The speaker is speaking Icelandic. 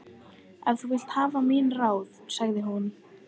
Ef þú vilt hafa mín ráð, sagði hún.